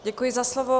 Děkuji za slovo.